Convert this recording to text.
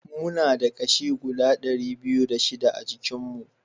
Muna da ƙashi guda dari biyu da shida a jikin mu